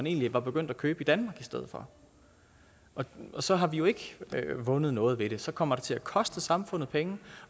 egentlig var begyndt at købe i danmark i stedet for og så har vi jo ikke vundet noget ved det så kommer det til at koste samfundet penge